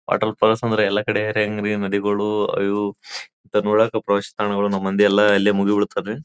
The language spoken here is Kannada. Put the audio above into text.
ವಾಟರ್ ಫಾಲ್ಸ್ ಅಂದ್ರೆ ಎಲ್ಲ ಕಡೆ ಹಾರ್ಯಾಂಗ್ರಿ ನದಿಗಳು ಇವು ನೋಡಕೆ ಫ್ರೆಶ್ ತಾಣಗಳು ನಮ್ಮ್ ಮಂದಿಯೆಲ್ಲ ಎಲ್ಲಾ ಅಲ್ಲೇ ಮುಗಿಬೀಳ್ತಾರಿ.